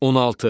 16.